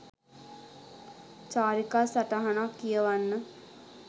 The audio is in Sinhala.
චාරිකා සටහනක් කියවන්න